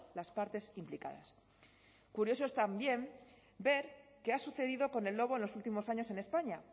las partes implicadas curioso es también ver qué ha sucedido con el lobo en los últimos años en españa